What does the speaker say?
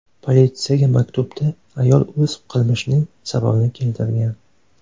Politsiyaga maktubda ayol o‘z qilmishining sababini keltirgan.